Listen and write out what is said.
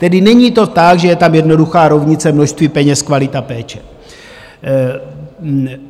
Tedy není to tak, že je tam jednoduchá rovnice - množství peněz, kvalita péče.